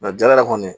Nka jala kɔni